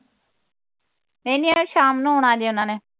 ਹੈਨੀ ਆਏ, ਸ਼ਾਮ ਨੂੰ ਆਉਣਾ ਜੇ ਉਹਨਾਂ ਨੇ